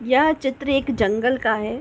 यह चित्र एक जंगल का है।